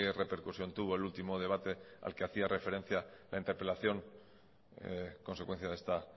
repercusión tuvo el último debate al que hacía referencia la interpelación consecuencia de esta